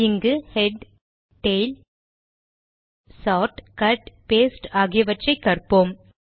இங்கு head tail sort cut paste ஆகியவற்றை கற்போம்